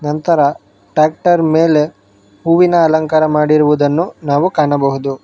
ನಂತರ ಟ್ಯಾಕ್ಟರ್ ಮೇಲೆ ಹೂವಿನ ಅಲಂಕಾರವನ್ನು ಮಾಡಿರುವುದನ್ನು ಕಾಣಬಹುದು.